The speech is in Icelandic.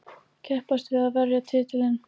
Keppast við að verja titilinn.